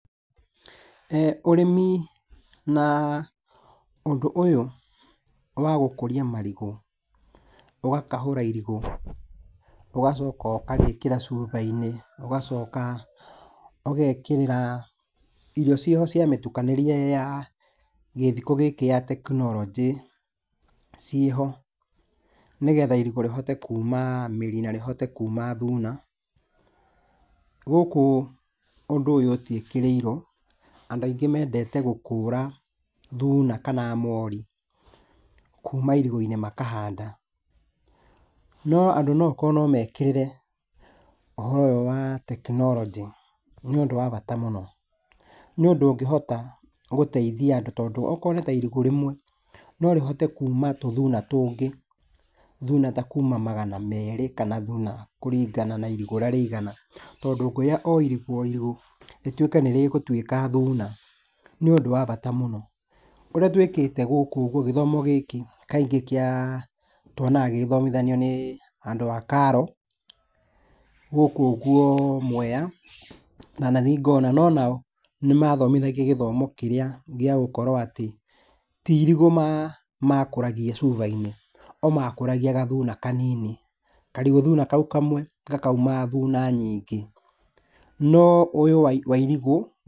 Ũrĩmi na ũndũ ũyũ wa gũkũria marigũ, ũgakahũra irigũ, ũgacoka ũkarĩkĩra cuba-inĩ, ũgacoka ũgekĩrĩra irio ciĩho cia mĩtukanĩrie ya gĩthiko gĩkĩ ya tekinoronjĩ ciĩho nĩgetha irigũ rĩhote kuma mĩri na rĩhote kuma thuna. Gũkũ ũndũ ũyũ ũtiĩkĩrĩirwo, andũ aingĩ mendete gũkũra thuna kana mori kuma irigũ-inĩ makahanda, no andũ no okorwo no mekĩrĩre ũhoro ũyũ wa tekinoronjĩ, nĩũndũ wa bata mũno, nĩũndũ ũngĩhota gũteithia andũ tondũ akorwo nĩta irigũ rĩmwe, no rĩhote kuma tũthuna tũngĩ, thuna ta kuma magana merĩ kana thuna kũringana na irigũ ũrĩa rĩigana, tondũ ũngĩoya o irigũ o irigũ, rĩtuĩke nĩrĩgũtuĩka thuna, nĩũndũ wa bata mũno. Ũrĩa twĩkĩte gũkũ gĩthomo gĩkĩ kaingĩ kĩa, tuonaga gĩgĩthomithanio nĩ andũ a karo, gũkũ ũguo Mwea, ndanathiĩ ngona, no nao nĩmathomithagia gĩthomo kĩrĩa gĩagũkorwo atĩ, ti irigũ makũragia cuba-inĩ, o makũragia gathuna kanini. Karigũ thuna kau kamwe, gakauma thuna nyingĩ, no ũyũ wa irigũ